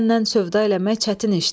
Səndən sövda eləmək çətin işdir.